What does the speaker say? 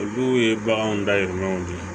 Olu ye baganw dahirimɛw de ye